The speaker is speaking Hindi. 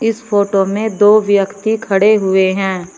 इस फोटो में दो व्यक्ति खड़े हुए हैं।